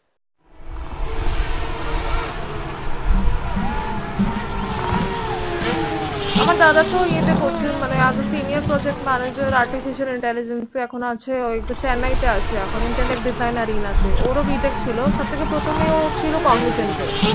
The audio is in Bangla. আমার দাদা তো এয়ে তে করেছে মানে As A Senior Ptoject Manager Artificial Intelligence ও তো chennai তে আছে intellect designer এয়ে ওর ও B. Tech ছিল সব থেকে প্রথম ও ছিল, Cognigent এ